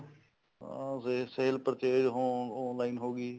ਅਹ sale purchase online ਹੋ ਗਈ